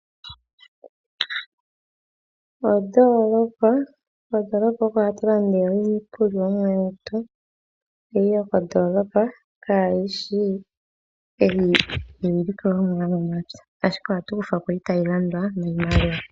Ondolopa, Kondolopa oko hatulanda iikulya yetu eyi yokondolopa ,Kayishi eyi yilikolomwa yomomapya, Ashike ohatu kufhako mbi tayilandwa niimaliwa.